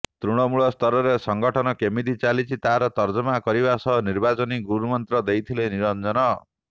ତୃଣମୂଳସ୍ତରରେ ସଂଗଠନ କେମିତି ଚାଲିଛି ତାର ତର୍ଜମା କରିବା ସହ ନିର୍ବାଚନୀ ଗୁରୁମନ୍ତ୍ର ଦେଇଥିଲେ ନିରଞ୍ଜନ